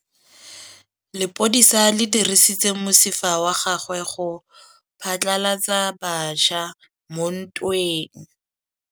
Lepodisa le dirisitse mosifa wa gagwe go phatlalatsa batšha mo ntweng.